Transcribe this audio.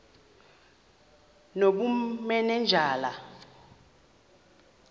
nobumanejala